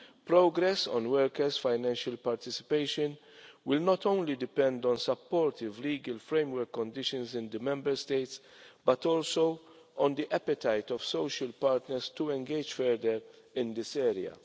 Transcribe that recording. Progress on workers' financial participation will not only depend on supportive legal framework conditions in the Member States but also on the appetite of social partners to engage further in this area.